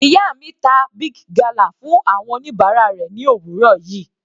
Ìyá mi ta Big gala fún àwọn oníbàárà rẹ̀ ni òwúrọ̀ yìí.